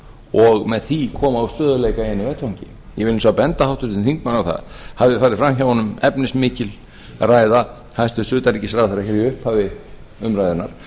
og með því koma á stöðugleika í einu vetfangi ég vil hins vegar benda háttvirtum þingmanni á það hafi farið fram hjá honum efnismikil ræða hæstvirtur forsætisráðherra hér í upphafi umræðunnar að